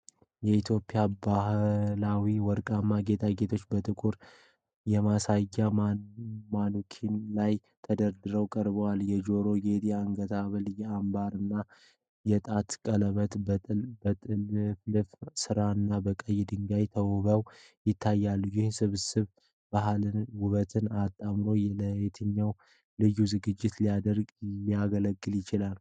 የኢትዮጵያ ባህላዊ ወርቃማ ጌጣጌጦች በጥቁር የማሳያ ማኑኪን ላይ ተደርገው ቀርበዋል። የጆሮ ጌጥ፣ የአንገት ሐብል፣ የአምባር እና የጣት ቀለበት በጥልፍልፍ ስራና በቀይ ድንጋይ ተውበው ይታያሉ። ይህ ስብስብ ባህልንና ውበትን አጣምሮ ፣ ለየትኛው ልዩ ዝግጅት ሊያገለግል ይችላል?